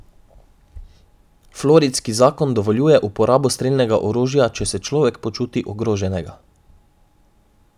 Floridski zakon dovoljuje uporabo strelnega orožja, če se človek počuti ogroženega.